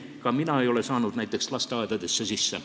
Ka mina ei ole saanud näiteks lasteaedadesse sisse.